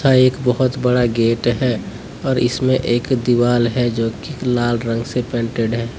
एक बहुत बड़ा गेट है और इसमें एक दीवाल है जोकि इक लाल रंग से पेंटेड है।